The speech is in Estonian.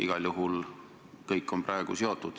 Igal juhul praegu on kõik asjaga seotud.